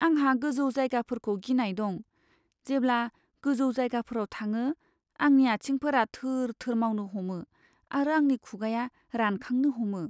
आंहा गोजौ जायगाफोरखौ गिनाय दं। जेब्ला गोजौ जायगाफोराव थाङो आंनि आंथिंआ थोर थोर मावनो हमो आरो आंनि खुगाया रानखांनो हमो।